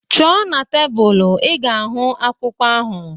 Chọọ n'tebul, ị ga-ahụ akwụkwọ ahu